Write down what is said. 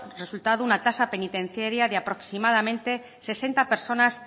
resultado una tasa penitenciaria de aproximadamente sesenta personas